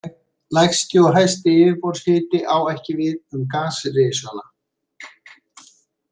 Lægsti og hæsti yfirborðshiti á ekki við um gasrisana.